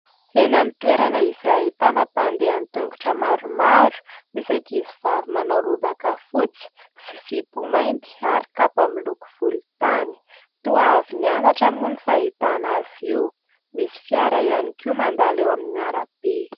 Eny amin'ny toerana izay ahitana mpandeha an-tongotra maromaro, misy ankizivavy manao lobaka fotsy sy zipo mainty ary kapa miloko volontany. Toa avy nianatra moa ny fahitana azy io, misy fiara ihany koa mandalo eo amin'ny arabe.